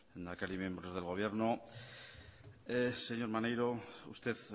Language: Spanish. lehendakari miembros del gobierno señor maneiro usted